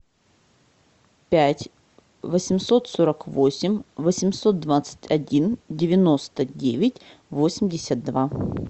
пять восемьсот сорок восемь восемьсот двадцать один девяносто девять восемьдесят два